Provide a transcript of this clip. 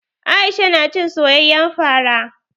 Aisha na cin soyayyen fara.